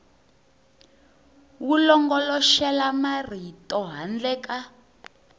wu longoloxela marito handle ka